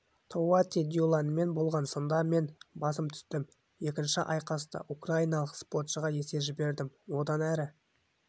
тоуати дюланмен болған сында мен басым түстім екінші айқаста украиналық спортшыға есе жібердім одан әрі